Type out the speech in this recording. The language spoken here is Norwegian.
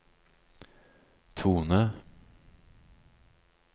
tone